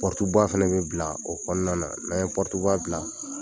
ba fɛnɛ bi bila o kɔnɔna, n'an ye ba bila